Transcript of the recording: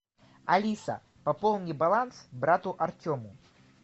алиса пополни баланс брату артему